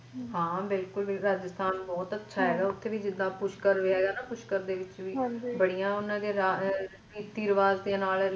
ਹਾਂ ਬਿੱਲਕੁਲ ਰਾਜਸਥਾਨ ਬਹੁਤ ਅੱਛਾ ਹੈਗਾ ਉੱਥੇ ਵੀ ਜਿੱਦਾਂ ਪੁਸ਼ਕਰ ਹੈਗਾ ਨਾ ਪੁਸਕਰ ਦੇ ਵਿੱਚ ਦੇ ਵਿੱਚ ਵੀ ਬੜੀਆਂ ਓਹਨਾ ਦੀਆ ਆ ਰੀਤੀ ਰਿਵਾਜ ਦੇ ਨਾਲ